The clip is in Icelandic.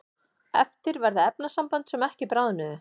eftir verða efnasambönd sem ekki bráðnuðu